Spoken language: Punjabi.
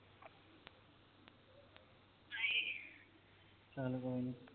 ਚਾਲ ਕੋਈ ਨੀ